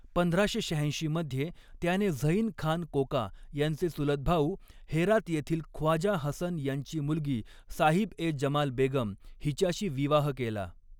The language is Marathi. पंधराशे शहाऐंशी मध्ये त्याने झैन खान कोका यांचे चुलत भाऊ, हेरात येथील ख्वाजा हसन यांची मुलगी साहिब ए जमाल बेगम हिच्याशी विवाह केला.